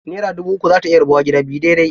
Naira dubu uku za ta iya rabuwa gida biyu daidai.